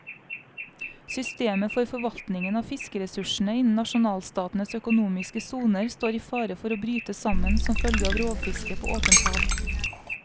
Systemet for forvaltningen av fiskeressursene innen nasjonalstatenes økonomiske soner står i fare for å bryte sammen som følge av rovfiske på åpent hav.